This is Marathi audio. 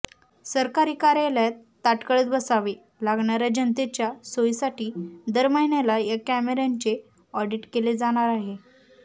सरकारी कार्यालयात ताटकळत बसावे लागणाऱ्या जनतेच्या सोयीसाठी दर महिन्याला या कॅमेऱ्यांचे ऑडीट केले जाणार आहे